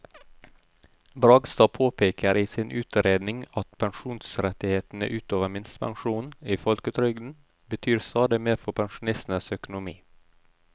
Bragstad påpeker i sin utredning at pensjonsrettighetene ut over minstepensjonen i folketrygden betyr stadig mer for pensjonistenes økonomi.